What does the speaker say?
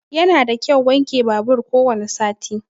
Yana da kyau wanke babur ko wani sati.